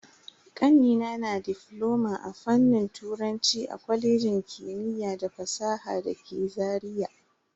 Kanina na difloma a fannin turanci a kwalejin kimiyya da fasaha dake Zaria.